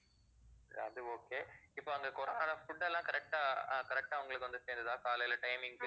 அது okay இப்போ அங்க corona ல food எல்லாம் correct ஆ அஹ் correct ஆ உங்களுக்கு வந்து சேர்ந்ததா காலையில timing க்கு